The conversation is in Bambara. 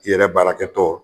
I yɛrɛ baarakɛtɔ